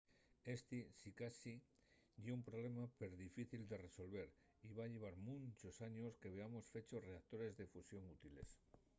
esti sicasí ye un problema perdifícil de resolver y va llevar munchos años que veamos fechos reactores de fusión útiles